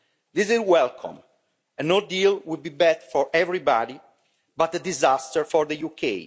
This is welcome a no deal would be bad for everybody but a disaster for the UK.